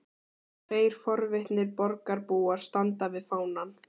Tveir forvitnir borgarbúar standa við fánann.